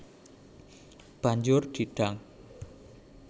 Banjur di dang